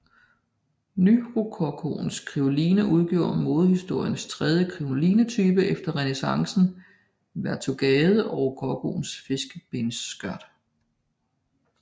Nyrokokoens krinoline udgjorde modehistoriens tredje krinolinetype efter renæssancens vertugade og rokokoens fiskebensskørt